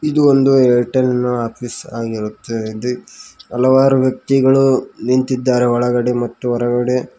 ಇದು ಒಂದು ಏರ್ಟೆಲ್ ನ ಆಫೀಸ್ ಆಗಿರುತ್ತದೆ ಹಲವಾರು ವ್ಯಕ್ತಿಗಳು ನಿಂತಿದ್ದಾರೆ ಒಳಗಡೆ ಮತ್ತು ಹೊರಗಡೆ.